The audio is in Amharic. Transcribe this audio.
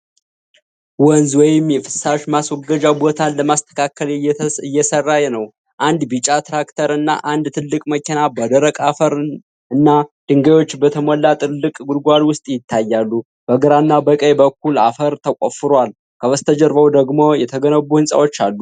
ወንዝ ወይም የፍሳሽ ማስወገጃ ቦታን ለማስተካከል እየተሠራ ነው። አንድ ቢጫ ትራክተር እና አንድ ትልቅ መኪና በደረቅ አፈር እና ድንጋዮች በተሞላ ጥልቅ ጉድጓድ ውስጥ ይታያሉ። በግራ እና በቀኝ በኩል አፈር ተቆፍሮል። ከበስተጀርባው ደግሞየ ተገነቡ ህንጻዎች አሉ።